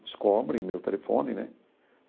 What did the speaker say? Descobrem meu telefone, né?